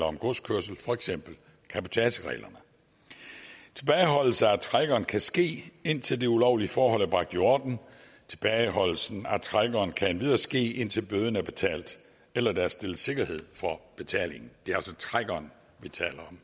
om godskørsel for eksempel cabotagereglerne tilbageholdelse af trækkeren kan ske indtil det ulovlige forhold er bragt i orden tilbageholdelsen af trækkeren kan endvidere ske indtil bøden er betalt eller der er stillet sikkerhed for betaling det er altså trækkeren vi taler